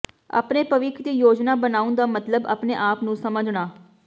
ਆਪਣੇ ਭਵਿੱਖ ਦੀ ਯੋਜਨਾ ਬਣਾਉਣ ਦਾ ਮਤਲਬ ਆਪਣੇ ਆਪ ਨੂੰ ਸਮਝਣਾ